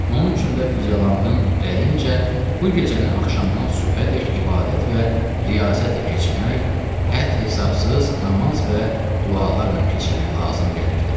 Onun üçün də füzəlanın dəyincə bu gecəni axşamdan sübhədək ibadət və riyazətlə keçirmək, hədd-hesabsız namaz və dualarla keçirmək lazım gəlirdi.